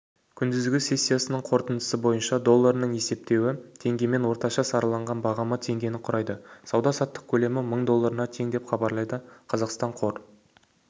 күндізгі сессиясының қорытындысы бойынша долларының есептесуі теңгемен орташа сараланған бағамы теңгені құрайды сауда-саттық көлемі мың долларына тең деп хабарлайды қазақстан қор